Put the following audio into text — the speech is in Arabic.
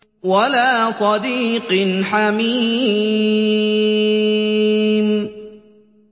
وَلَا صَدِيقٍ حَمِيمٍ